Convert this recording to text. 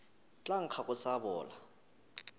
tla nkga go sa bola